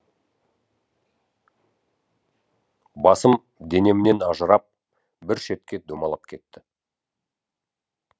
басым денемнен ажырап біршетке домалап кетті